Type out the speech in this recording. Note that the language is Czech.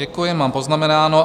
Děkuji, mám poznamenáno.